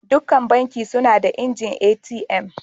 Dukan Banki suna da injin ATM.